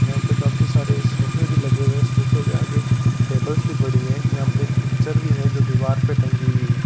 यहां पे काफी सारे सोफे भी लगे हुए हैं सोफे के आगे टेबल्स भी पड़ी है यहां एक पिक्चर भी है जो दीवार पे टंगी हुई है।